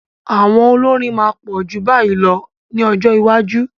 Àwọn olórin máa pọ̀ ju báyìí lọ ní ọjọ́ iwájú.